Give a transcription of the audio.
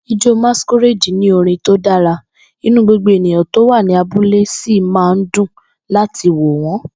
Ijó Masquerade ní orin tó dára, inú gbogbo ènìyàn tó wà ní abúlé sì máa ń dùn láti wò wọ́n.